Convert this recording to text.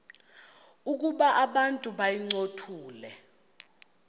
ukuba abantu bayincothule